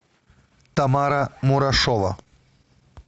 тамара мурашова